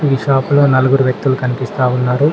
ఈ షాపులో నలుగురు వ్యక్తులు కనిపిస్తా ఉన్నారు.